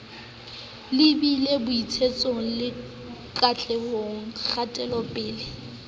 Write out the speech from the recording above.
lebile botsitsong le katlehong kgatelopele